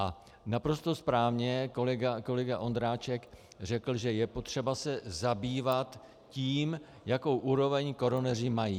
A naprosto správně kolega Ondráček řekl, že je potřeba se zabývat tím, jakou úroveň koroneři mají.